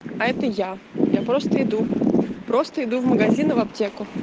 а это я я просто иду просто иду в магазин и в аптеку